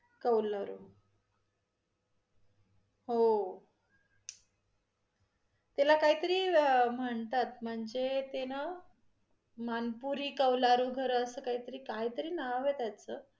कौलारू हो त्याला काहीतरी म्हणतात, म्हणजे ते न मानपुरी कौलारू घरं अस काहीतरी, काहीतरी नाव आहे त्याचं